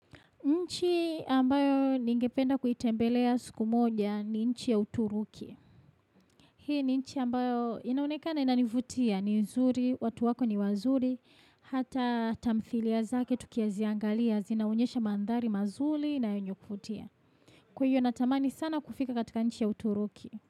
Nchi ambayo ningependa kuitembelea siku moja ni nchi ya uturuki. Hii ni nchi ambayo inaonekana inanivutia ni nzuri, watu wako ni wazuri, hata tamthilia zake tukiziangalia, zinaonyesha mandhari mazuri na yenye kuvutia. Kwa hiyo natamani sana kufika katika nchi ya uturuki.